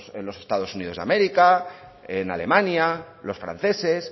en los estados unidos de américa en alemania los franceses